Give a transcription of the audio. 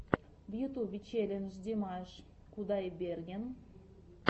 в ютюбе челлендж димаш кудайберген